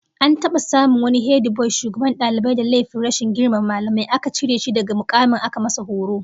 An taba samun wani hediboy shugaban dalibai da laifin rashin girmama mallamai, aka cire shi daga mukamin aka masa horo